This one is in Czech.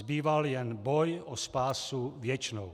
Zbýval jen boj o spásu věčnou.